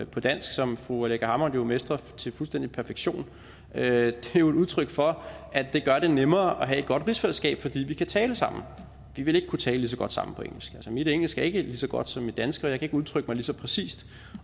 på dansk som fru aleqa hammond mestrer til fuldstændig perfektion er jo et udtryk for at det gør det nemmere at have et godt rigsfællesskab fordi vi kan tale sammen vi ville ikke kunne tale lige så godt sammen på engelsk mit engelske er ikke lige så godt som mit danske og jeg kan ikke udtrykke mig lige så præcist